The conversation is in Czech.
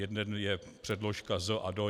Jeden je předložka "z" a "do".